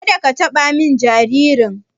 Ka da ka taɓa jaririn!